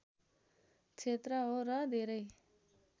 क्षेत्र हो र धेरै